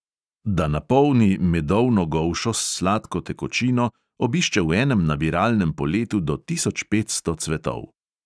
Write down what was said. Da napolni medovno golšo s sladko tekočino, obišče v enem nabiralnem poletu do tisoč petsto cvetov.